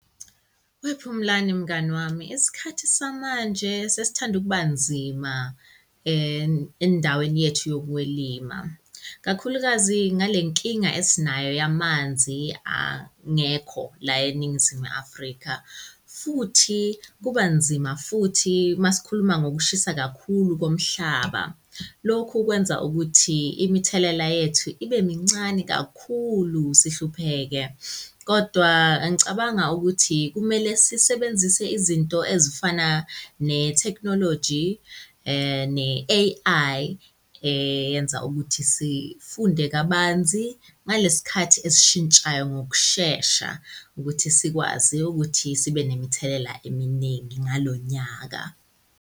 WePhumlani, mngani wami, isikhathi samanje sesithanda ukuba nzima endaweni yethu yokwelima. Kakhulukazi ngale nkinga esinayo yamanzi angekho la eNingizimu Afrika, futhi kuba nzima futhi masikhuluma ngokushisa kakhulu komhlaba. Lokhu kwenza ukuthi imithelela yethu ibe mincane kakhulu sihlupheke. Kodwa ngicabanga ukuthi kumele sisebenzise izinto ezifana nethekhnoloji ne-A_I eyenza ukuthi sifunde kabanzi ngale sikhathi esishintshayo ngokushesha ukuthi sikwazi ukuthi sibe nemithelela eminingi ngalo nyaka.